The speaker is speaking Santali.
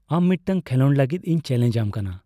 ᱟᱢ ᱢᱤᱫᱴᱟᱝ ᱠᱷᱮᱞᱳᱰ ᱞᱟᱹᱜᱤᱫ ᱤᱧ ᱪᱮᱞᱮᱧᱡ ᱟᱢ ᱠᱟᱱᱟ ᱾